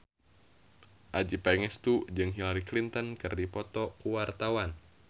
Adjie Pangestu jeung Hillary Clinton keur dipoto ku wartawan